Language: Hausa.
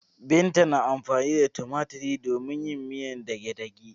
Binta na amfani da tumatiri domin yin miyan dagedage.